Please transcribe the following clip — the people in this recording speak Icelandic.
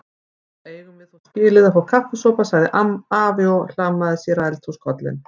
Nú eigum við þó skilið að fá kaffisopa sagði afi og hlammaði sér á eldhúskollinn.